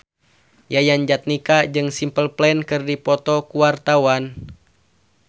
Yayan Jatnika jeung Simple Plan keur dipoto ku wartawan